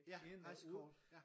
Ja rejsekort ja